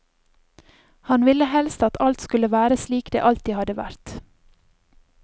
Han ville helst at alt skulle være slik det alltid hadde vært.